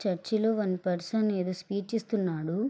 Church లో one person ఏదో speech ఇస్తున్నాడు.